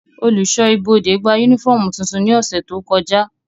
Oluṣọ ibode gba unifọmú tuntun ni ọsẹ to kọja.